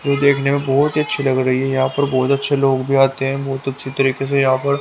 ये देखने में बहुत ही अच्छी लग रही है यहां पर बहुत अच्छे लोग भी आते हैं बहुत अच्छी तरीके से यहां पर--